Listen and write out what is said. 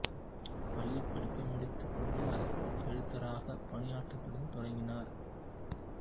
பள்ளிப் படிப்பை முடித்துக் கொண்டு அரசு எழுத்தராகப் பணியாற்றட்ன் தொடங்கினார்